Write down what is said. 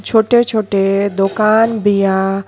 छोटे-छोटे दोकान बिया।